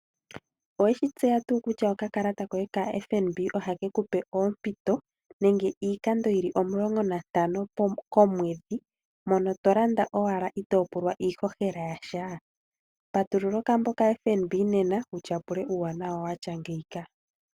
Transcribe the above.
Oweshi tseya tuu kutya oka kalata koye kaFNB oha kekupe oompito nenge iikando yili omulongo nantano komwedhi, mono tolanda owala ito pulwa iihohela yasha. patulula okambo kaFNB wu tyapule uuwanawa wafa mpaka